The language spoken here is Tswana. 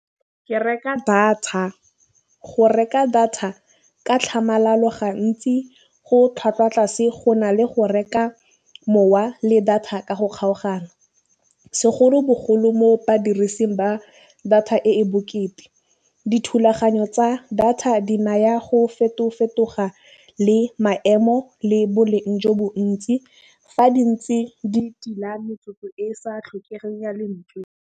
Ke reka data, go reka data ka tlhamalalo gantsi go tlhwatlhwa tlase go na le go reka mowa le data ka go kgaogana. Segolobogolo mo badirising ba data e e bokete, dithulaganyo tsa data di naya go fetofetoga le maemo le boleng jo bo ntsi, fa di ntse di tila metsotso e sa tlhokegeng ya lentswe.